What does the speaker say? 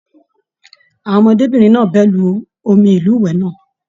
Àwọn ọmọdébinrin náà bẹ lù omi ilúwẹ náà.